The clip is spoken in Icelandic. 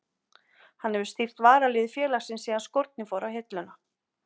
Hann hefur stýrt varaliði félagsins síðan skórnir fóru á hilluna.